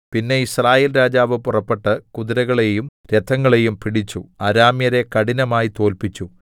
പിന്നെ യിസ്രായേൽ രാജാവ് പുറപ്പെട്ട് കുതിരകളെയും രഥങ്ങളെയും പിടിച്ചു അരാമ്യരെ കഠിനമായി തോല്പിച്ചു